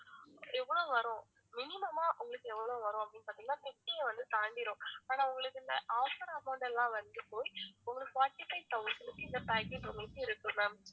எவ்ளோ வரும் minimum ஆ உங்களுக்கு எவ்ளோ வரும் அப்படின்னு பாத்திங்கனா fifty ஐ வந்து தாண்டிரும் ஆனா உங்களுக்கு இந்த offer amount லாம் வந்து போய் ஒரு forty-five thousand க்கு இந்த package உங்களுக்கு இருக்கும் ma'am